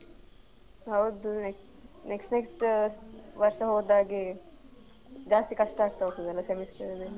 ಹೌದು next next ವರ್ಷ ಹೋದ ಹಾಗೆ ಜಾಸ್ತಿ ಕಷ್ಟ ಆಗ್ತಾ ಹೋಗ್ತದಲ್ಲ semester ದ್ ಎಲ್ಲ.